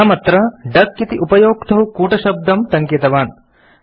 अहमत्र डक इति उपयोक्तुः कूटशब्दं टङ्कितवान्